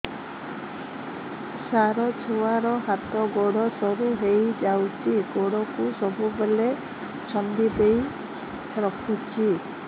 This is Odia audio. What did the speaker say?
ସାର ଛୁଆର ହାତ ଗୋଡ ସରୁ ହେଇ ଯାଉଛି ଗୋଡ କୁ ସବୁବେଳେ ଛନ୍ଦିଦେଇ ରଖୁଛି